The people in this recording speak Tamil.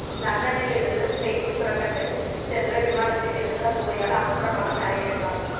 லண்டனிலிருந்து ஸ்பெயின் புறப்பட்டு சென்ற விமானத்தில் எழுந்த புகையால் அவசரமாக தரையிறக்கம்